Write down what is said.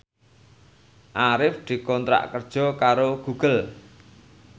Arif dikontrak kerja karo Google